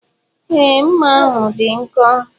Ee, mma ahụ dị nkọ.